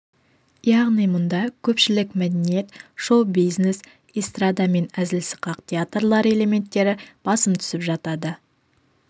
яғни мұнда көпшілік мәдениет шоу-бизнес эстрада мен әзіл-сықақ театрлары элементтері басым түсіп жатады